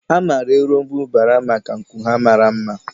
A maara erombubara maka nku ha mara mma.